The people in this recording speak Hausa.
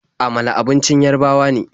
Amala abincin Yarabawa ne.